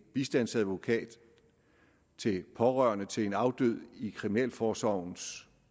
bistandsadvokat til pårørende til en afdød i kriminalforsorgens